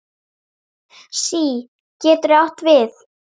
SÍ getur átt við